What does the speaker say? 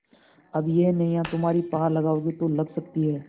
अब यह नैया तुम्ही पार लगाओगे तो लग सकती है